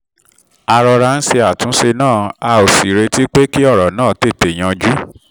a rọra ń ṣe àtúnṣe náà a ò sì retí pé kí ọ̀rọ̀ tètè yanjú